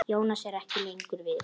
Jónas er ekki lengur við.